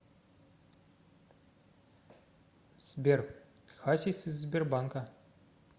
сбер хасис из сбербанка